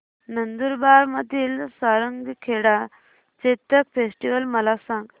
नंदुरबार मधील सारंगखेडा चेतक फेस्टीवल मला सांग